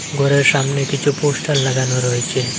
ঘরের সামনে কিছু পোস্টার লাগানো রয়েছে।